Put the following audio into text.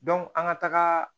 an ka taga